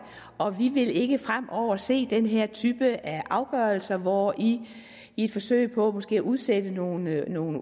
og vi vil ikke fremover vil se den her type af afgørelser hvor i i et forsøg på måske at udsætte nogle nogle